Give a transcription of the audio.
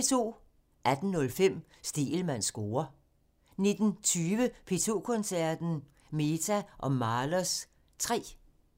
18:05: Stegelmanns score (tir) 19:20: P2 Koncerten – Mehta & Mahlers 3